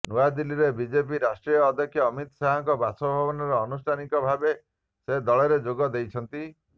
ନୂଆଦିଲ୍ଲୀରେ ବିଜେପି ରାଷ୍ଟ୍ରୀୟ ଅଧ୍ୟକ୍ଷ ଅମିତ ଶାହଙ୍କ ବାସଭବନରେ ଆନୁଷ୍ଠାନିକ ଭାବେ ସେ ଦଳରେ ଯୋଗ ଦେଇଛନ୍ତ